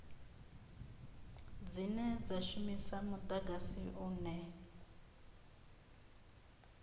dzine dza shumisa mudagasi une